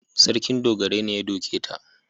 Sarkin dogarai ne ya doke ta.